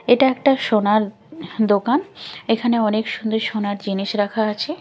এটা একটা সোনার দোকান এখানে অনেক সুন্দর সোনার জিনিস রাখা আছে।